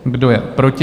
Kdo je proti?